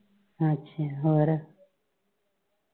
ਅੱਛਾ ਹੋਰ